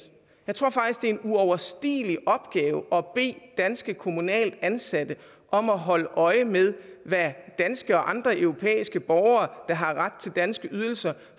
jeg tror faktisk at det er en uoverstigelig opgave at bede danske kommunalt ansatte om at holde øje med hvad danske og andre europæiske borgere der har ret til danske ydelser